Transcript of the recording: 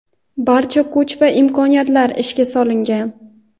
barcha kuch va imkoniyatlar ishga solingan.